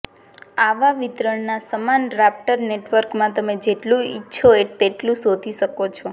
આવા વિતરણનાં સમાન રાપ્ટર નેટવર્કમાં તમે જેટલું ઇચ્છો તેટલું શોધી શકો છો